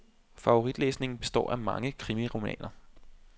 Favoritlæsningen består af mange kriminalromaner.